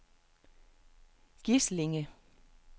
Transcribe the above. Gislinge